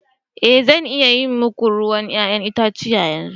Ee zan iya yi muku ruwan 'ya'yan itace yanzu.